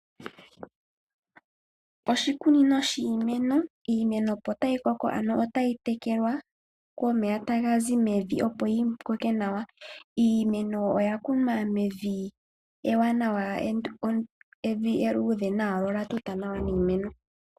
Oshikunino shiimeno. Iimeno otayi tekelwa komeya ta ga zi mevi opo yi koke nawa. Iimeno oya kunwa mevi ewanawa ,evi eluudhe nawa lyo olya tuta nawa niimeno.